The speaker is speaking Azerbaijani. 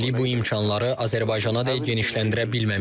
Hələlik bu imkanları Azərbaycana da genişləndirə bilməmişik.